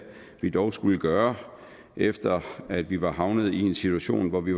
vi dog skulle gøre efter at vi var havnet i en situation hvor vi